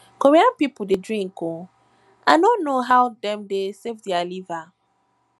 korea people dey drink ooo i no know how dem dey save their liver